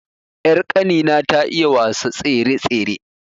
Ƴar kani na ta iya wasa tsere-tsere